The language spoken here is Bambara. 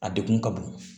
A degun ka bon